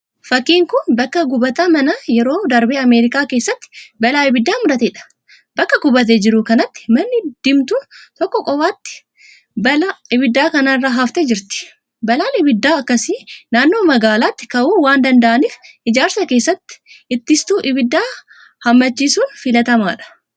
Fakkiin kun bakka gubataa manaa yeroo darbe Ameerikaa keessatti balaa ibiddaan mudateedha. Bakka gubatee jiru kanatti manni diimtuun tokko qofaatti balaa ibiddaa kana irraa haftee jirti. Balaan ibiddaa akkasii naannoo magaalaatti ka'uu waan danda'aaniif ijaarsa keessatti ittistuu ibiddaa hammachiisuun filatamaadha.